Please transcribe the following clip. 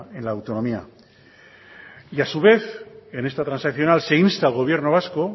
en la autonomía y a su vez en esta transaccional se insta al gobierno vasco